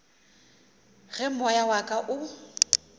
ge moya wa ka o